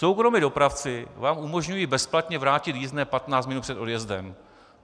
Soukromí dopravci vám umožňují bezplatně vrátit jízdné 15 minut před odjezdem.